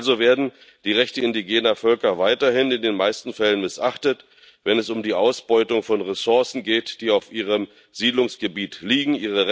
Also werden die Rechte indigener Völker weiterhin in den meisten Fällen missachtet, wenn es um die Ausbeutung von Ressourcen geht, die auf ihrem Siedlungsgebiet liegen.